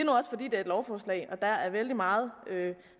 er et lovforslag og der er vældig meget